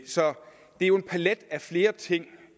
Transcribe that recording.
så det er jo en palet af flere ting